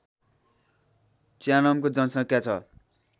च्यानामको जनसङ्ख्या छ